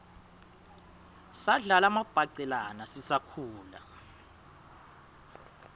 sadlala mabhacelaua sisakhula